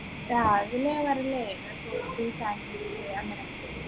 രാവിലെന്നു bread sandwich അങ്ങനെ